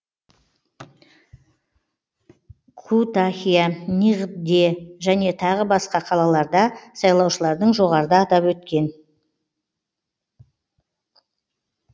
күтахия ниғде және тағы басқа қалаларда сайлаушылардың жоғарыда атап өткен